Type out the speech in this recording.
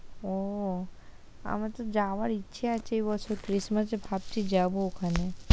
ও আমার তো যাওয়ার ইচ্ছে আছে এ বছর christmass এ ভাবছি যাবো ওখানে।